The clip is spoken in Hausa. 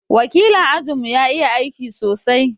wakilin ajin mu ya iƴa aiki sosai.